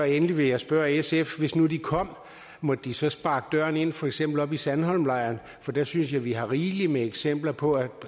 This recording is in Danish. endelig vil jeg spørge sf hvis nu de kom måtte de så sparke døren ind for eksempel oppe i sandholmlejren jeg synes at vi der har rigelig med eksempler på